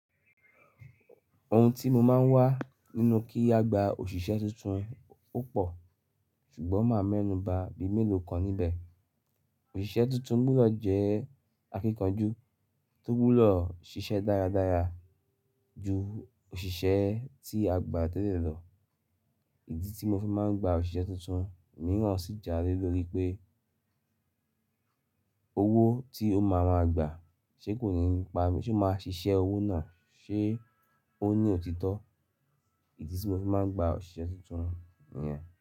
Ohun tí mo máa ń wá nínú kí a gba òṣìṣẹ́ tuntun opọ̀ ṣùgbọ́n máa mẹ́nù ba bíi mélòó kan níbẹ̀. Òṣìṣẹ́ tuntun gbudọ̀ jẹ́ akíkanjú tó gbudò ṣiṣẹ́ dáradára ju òṣìṣẹ́ tí a gbà tẹ́lẹ̀ lọ. Ìdí tí mo fi máa ń gba òṣìṣẹ́ tuntun mìíràn sì jálé lórí pé owó tí ó máa máa gba ṣe kò ní pa mi, ṣe ó máa ṣiṣẹ́ owó náà? Ṣe ó ní òtítọ́? Ìdí tí mo fi máa ń gba òṣìṣẹ́ tuntun nìyẹn.